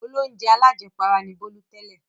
Olóunjẹ alájẹpara ni Bólú tẹ́lẹ̀.